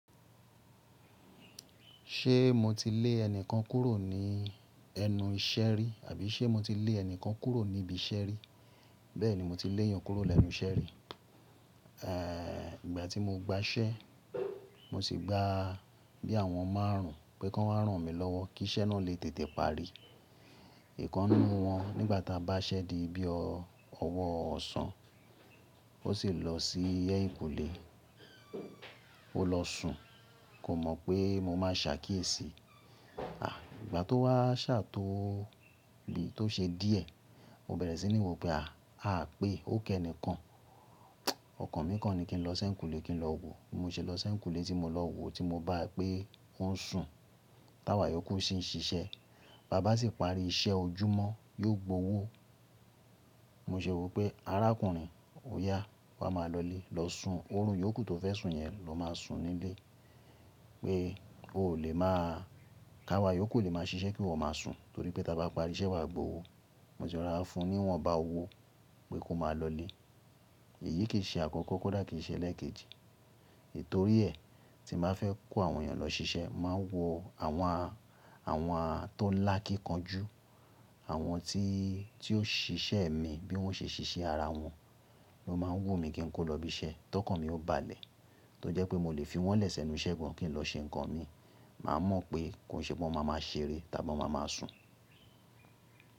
Ṣé mo ti lé ẹnìkan kúrò ní ẹnu iṣẹ́ rí? Àbí ṣé mo ti lé ẹnìkan kúrò ní ibi iṣẹ́ rí? Bẹ́ẹ̀ni, mo ti lé èèyàn kúrò lẹ́nu iṣẹ́ rí. Ìgbà tí mo gba ṣẹ́, mo sì gba bí àwọn máárùn pé kí wọ́n máa ràn mí lọ́wọ́ kí iṣẹ́ náà lè tètè parí. Ìkan nínú wọn nígbà ta bá ṣẹ́ di bí ọwọ́ ọ̀sán, ó sì lọ sí ẹ̀yìnkùlé. Ó lọ sùn, kò mọ̀ pé mo máa ṣà kíyèsì. Ìgbà tó wá ṣà tó lè tó ṣe díẹ̀, mo bẹ̀rẹ̀ sí ní wò pé à pé ó kẹ́ni kan. Ọkàn mi kan ni kí n lọ sí ẹ̀yìnkùlé kí n lọ wò ó. Mo ṣe lọ sí ẹ̀yìnkùlé tí mo lọ wò tí mo bá pé ọ́ ń sùn. Táwà iyóku sì ń ṣiṣẹ́, bàbá sì parí iṣẹ́ ojúmọ́, yóò gbowó. Mo ṣe wò pé arákùnrin, óyá, wa máa lọlé, lọ sun, òórùn iyókú tó fẹ́ sùn yẹn ló máa sùn nílé. Pé ó lè máa ká wà yó ku lè máa ṣiṣẹ́ kí iwọ́ máa sùn, torí pé ta bá parí iṣẹ́ wa gbowó. Mo sì ra fún ní wọ́n bá owó pé kó máa lọ lé. Èyí kì í ṣe àkọ́kọ́, kódà kì í ṣe ẹlẹ́ẹ̀kejì. Tòrí ẹ, tí mo bá fẹ́ kó àwọn èèyàn lọ ṣiṣẹ́, máa wo àwọn à, àwọn à tó lákíkán jù, àwọn tí, tí ó ṣiṣẹ́ mi bí wọ́n ṣe ṣiṣẹ́ ara wọn. Lo máa ń wò mi kí n kó lọ ibi iṣẹ́. Tọkàn mi ó balẹ̀, tó jẹ́ pé mo lè fi wọ́n lẹ̀sẹ̀ nu iṣẹ́ gan kí n lọ ṣe nǹkan mi. Màá mọ̀ pé kò ṣe pé wọ́n máa máa ṣeré, tàbí wọ́n máa máa sùn.